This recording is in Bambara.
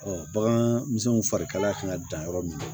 bagan misɛnninw fari kalaya kan ka dan yɔrɔ min na